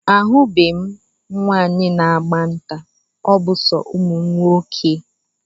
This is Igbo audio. Ahubeghi m nwaanyị na-agba nta, ọ bụ so ụmụnwoke